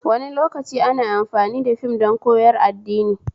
Wani lokaci ana amfani da fim don koyar addini